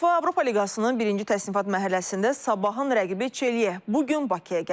UEFA Avropa Liqasının birinci təsnifat mərhələsində sabahın rəqibi Çeliya bu gün Bakıya gəlib.